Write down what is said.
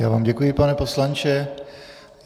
Já vám děkuji, pane poslanče.